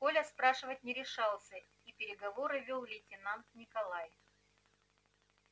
коля спрашивать не решался и переговоры вёл лейтенант николай